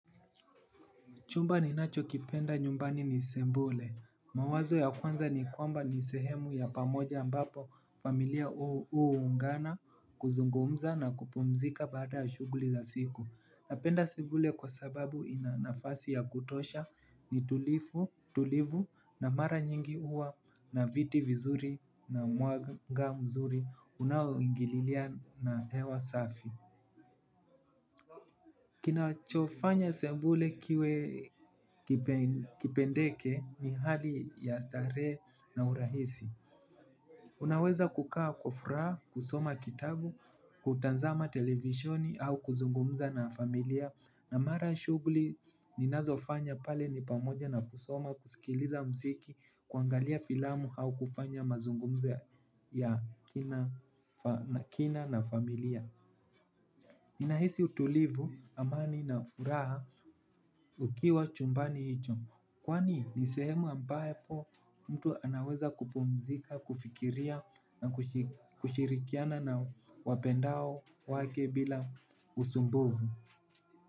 Chumba ninacho kipenda nyumbani ni sebule. Mawazo ya kwanza ni kwamba ni sehemu ya pamoja ambapo familia uu ungana kuzungumza na kupumzika baada ya shuguli za siku. Napenda sebule kwa sababu inanafasi ya kutosha ni tulivu na mara nyingi uwa na viti vizuri na mwanga mzuri unao ingililia na hewa safi. Kinachofanya sembule kiwe kipendeke ni hali ya starehe na urahisi. Unaweza kukaa kwa fraha, kusoma kitabu, kutanzama televisioni au kuzungumza na familia. Na mara shugli ninazo fanya pale ni pamoja na kusoma, kusikiliza mziki, kuangalia filamu au kufanya mazungumzo ya kina na familia. Ninahisi utulivu amani na furaha ukiwa chumbani hicho. Kwani ni sehemu ambapo mtu anaweza kupumzika, kufikiria na kushirikiana na wapendao wake bila usumbuvu.